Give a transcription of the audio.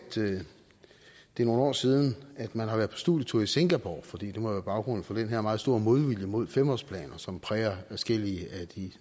det er nogle år siden at man har været på studietur i singapore for det må være baggrunden for den her meget store modvilje mod femårsplaner som præger adskillige af de